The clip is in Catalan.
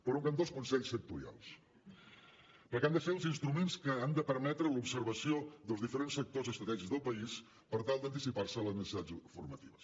per un cantó els consells sectorials perquè han de ser els instruments que han de permetre l’observació dels diferents sectors estratègics del país per tal d’anticipar se a les necessitats formatives